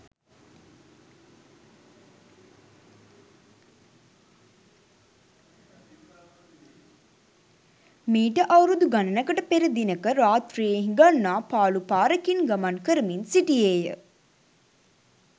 මීට අවුරුදු ගණනකට පෙර දිනෙක රාත්‍රියේ හිඟන්නා පාළු පාරකින් ගමන් කරමින් සිටියේ ය.